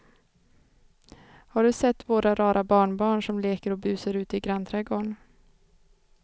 Har du sett våra rara barnbarn som leker och busar ute i grannträdgården!